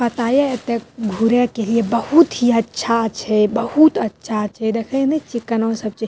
पता या एता घूरे के लिए बहुत ही अच्छा छै बहुत अच्छा छै देखे ने छिये कना सब चीज --